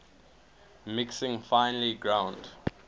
mixing finely ground